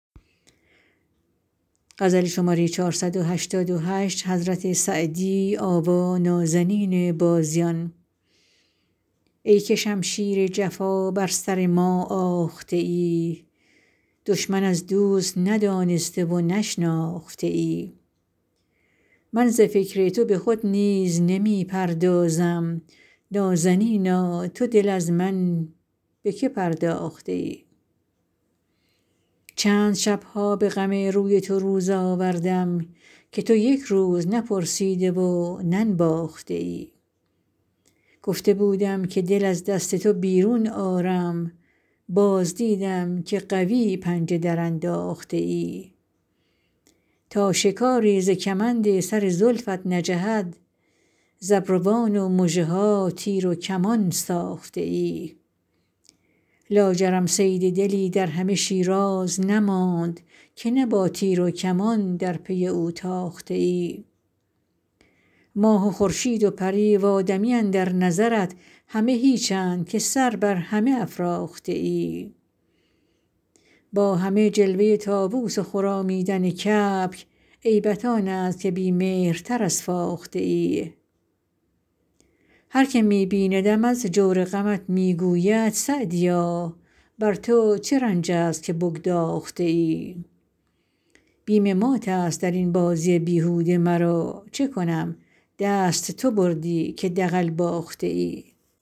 ای که شمشیر جفا بر سر ما آخته ای دشمن از دوست ندانسته و نشناخته ای من ز فکر تو به خود نیز نمی پردازم نازنینا تو دل از من به که پرداخته ای چند شب ها به غم روی تو روز آوردم که تو یک روز نپرسیده و ننواخته ای گفته بودم که دل از دست تو بیرون آرم باز دیدم که قوی پنجه درانداخته ای تا شکاری ز کمند سر زلفت نجهد ز ابروان و مژه ها تیر و کمان ساخته ای لاجرم صید دلی در همه شیراز نماند که نه با تیر و کمان در پی او تاخته ای ماه و خورشید و پری و آدمی اندر نظرت همه هیچند که سر بر همه افراخته ای با همه جلوه طاووس و خرامیدن کبک عیبت آن است که بی مهرتر از فاخته ای هر که می بیندم از جور غمت می گوید سعدیا بر تو چه رنج است که بگداخته ای بیم مات است در این بازی بیهوده مرا چه کنم دست تو بردی که دغل باخته ای